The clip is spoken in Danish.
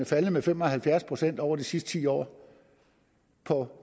faldet med fem og halvfjerds procent over de sidste ti år for